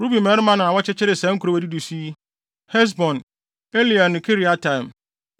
Ruben mmabarima na wɔkyekyeree saa nkurow a edidi so yi: Hesbon, Eleale ne Kiriataim,